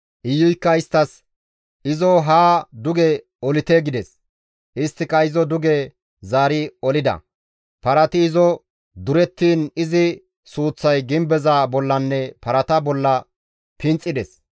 Iyuykka isttas, «Izo haa duge olite!» gides. Isttika izo duge zaari olida. Parati izo durettiin izi suuththay gimbeza bollanne parata bolla pinxides.